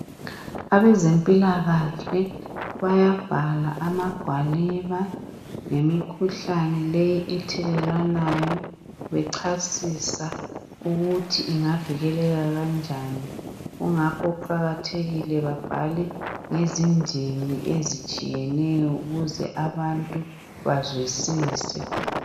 Abezempilakahle bayabhala amagwaliba ngemikhuhlane leyi ethelelwanayo bechasisa ukuthi ingavikeleka kanjani. Kungakho kuqakathekile babhale ngezindimi ezitshiyeneyo ukuze abantu bazwisise.